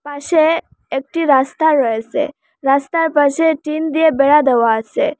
পাশে একটি রাস্তা রয়েসে রাস্তার পাশে টিন দিয়ে বেড়া দেওয়া আসে।